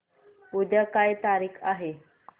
उद्या काय तारीख आहे